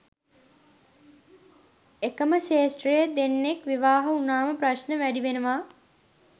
එකම ක්ෂේත්‍රයේ දෙන්නෙක් විවාහ වුණාම ප්‍රශ්න වැඩි වෙනවා